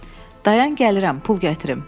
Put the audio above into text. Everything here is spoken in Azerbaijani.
Dayan gəlirəm, pul gətirim.